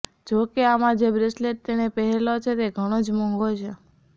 જો કે આમા જે બ્રેસલેટ તેણે પહેરેલો છે તે ઘણો જ મોંઘો છે